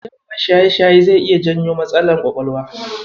Jarabar shaye-shaye zai iya janyo matsalar ƙwaƙwalwa.